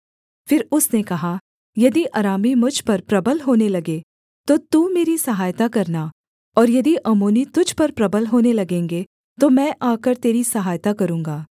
फिर उसने कहा यदि अरामी मुझ पर प्रबल होने लगें तो तू मेरी सहायता करना और यदि अम्मोनी तुझ पर प्रबल होने लगेंगे तो मैं आकर तेरी सहायता करूँगा